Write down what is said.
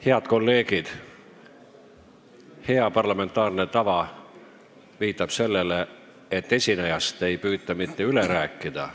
Head kolleegid, hea parlamentaarne tava viitab sellele, et esinejast ei püüta üle rääkida.